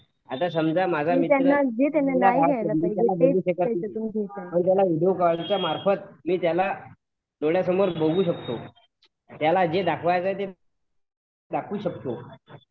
आता समाज माझा मित्र मी त्याला विडिओ कालच्या यामार्फत थोंडासमोर बघू शकतो त्याला जे दाखवायचं आहे ते दाखवू शकतो